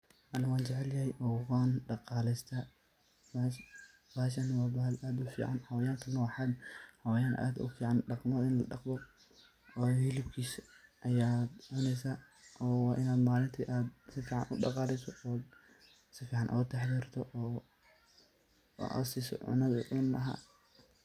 Ani wan jecelyahay oo wan dhaqaleystaa bahashani waa bahal aad u fican dhaqmo ini ladhaqdo waayo xilibkisa ayaa cunesa oo waini malinki si fican u daqaleso oo si fician oga taxadarto oo aad siso cunadi uu cuni lahaa.